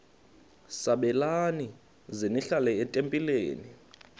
sabelani zenihlal etempileni